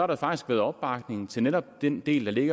der faktisk været opbakning til netop den del